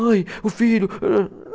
Ai, o filho. Âh